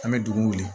An bɛ dugu wuli